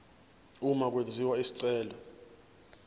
uma kwenziwa isicelo